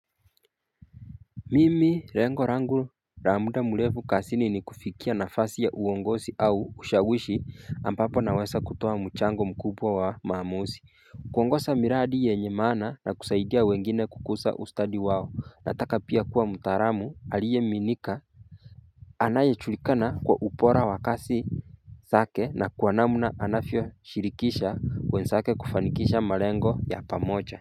Mimi lengo langu la muda mrefu kazini ni kufikia nafasi ya uongozi au ushawishi ambapo naweza kutoa mchango mkubwa wa maamuzi kuongoza miradi yenye maana na kusaidia wengine kukuza ustadi wao, nataka pia kuwa mtaalamu aliyeaminika anaye julikana kwa ubora wa kazi zake na kwa namna anavyoshirikisha wenzake kufanikisha malengo ya pamoja.